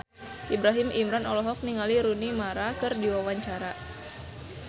Ibrahim Imran olohok ningali Rooney Mara keur diwawancara